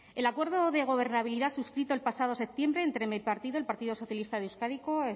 el acuerdo de gobernabilidad suscrito el pasado septiembre entre mi partido el partido socialista